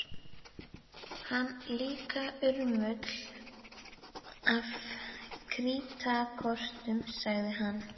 Líka urmull af krítarkortum sagði hann.